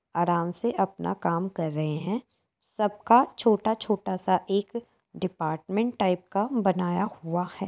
आराम से अपना काम कर रहे हैं | सबका छोटा-छोटा सा एक डिपार्मेंट टाइप का बनाया हुआ है।